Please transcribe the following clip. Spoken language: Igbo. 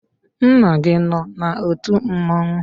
Nna gi no na otu mmanwụ?